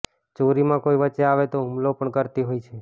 ચોરીમાં કોઈ વચ્ચે આવે તો હુમલો પણ કરતી હોય છે